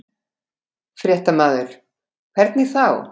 Fréttamaður: Hvernig þá?